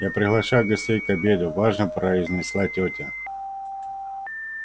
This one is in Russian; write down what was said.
я приглашаю гостей к обеду важно произнесла тётя